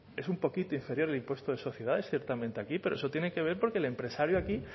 es un poquito inferior el impuesto de sociedades ciertamente aquí pero eso tiene que ver porque el empresario aquí